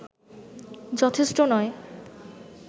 যথেষ্ট নয়